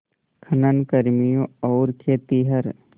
खनन कर्मियों और खेतिहर